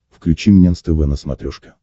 включи мне нств на смотрешке